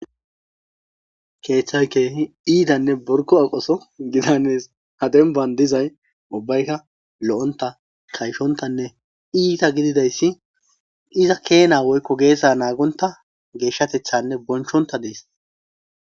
Keeththay keehi iithanne borkko aqoso gidanes;ha dembban dizay ubbaykka lo7onththa kayshonhthanne iitha gidizayssi iza keenaa woykko geesaa naagonththa geeshshatheththaanne bonchchonththa des.